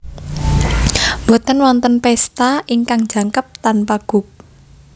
Boten wonten pesta ingkang jangkep tanpa guk